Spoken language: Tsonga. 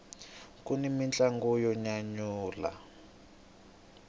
kuni mintlangu yo nyanyula